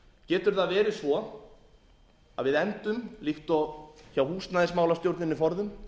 getur það verið svo að við endum líkt og hjá húsnæðimálastjórninni forðum